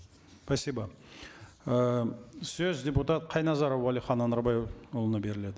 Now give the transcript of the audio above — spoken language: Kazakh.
спасибо э сөз депутат қайназаров уәлихан анарбайұлына беріледі